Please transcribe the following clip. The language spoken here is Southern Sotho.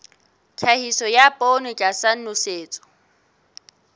tlhahiso ya poone tlasa nosetso